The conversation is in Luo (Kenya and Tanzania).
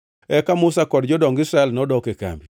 Eka Musa kod jodong Israel nodok e kambi.